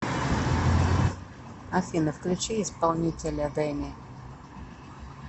афина включи исполнителя дэни